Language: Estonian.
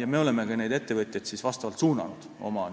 Me oleme ka ettevõtjaid suunanud oma